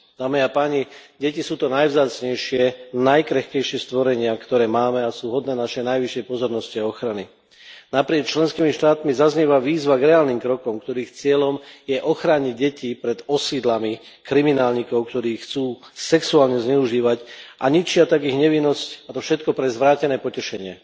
Dámy a páni, deti sú tie najvzácnejšie a najkrehkejšie stvorenia, ktoré máme, a sú hodné našej najvyššej pozornosti a ochrany. Naprieč členskými štátmi zaznieva výzva k reálnym krokom, ktorých cieľom je ochrániť deti pred osídlami kriminálnikov, ktorí ich chcú sexuálne zneužívať a ničia tak ich nevinnosť, a to všetko pre zvrátené potešenie.